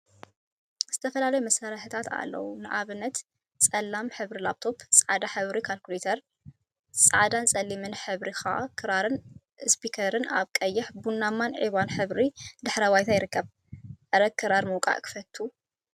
ዝተፈላለዩ መሳርሒታት አለው፡፡ ንአብነት ፀላም ሕብሪ ላፕ ቶብ፣ ፃዕዳ ሕብሪ ካልኩሌተር፣ ፃዕዳን ፀሊምን ሕብሪ ከዓ ክራርን እስፒከርን አብ ቀይሕ፣ ቡናማን ዒባን ሕብሪ ድሕረ ባይታ ይርከባ፡፡ አረ ክራር ምውቃዕ ክፈቱ…!